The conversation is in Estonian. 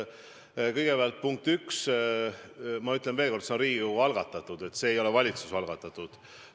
Kõigepealt, punkt 1: ma ütlen veel kord, et eelnõu on Riigikogu algatatud, see ei ole valitsuse algatatud.